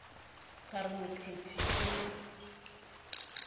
ka re mopheti o ne